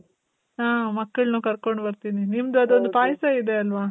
ಆ, ಮಕ್ಳುನ್ನು ಕರ್ಕೊಂಡ್ ಬರ್ತೀನಿ. ನಿಮ್ದ್ ಅದೊಂದು ಪಾಯಸ ಇದೆ ಅಲ್ವ?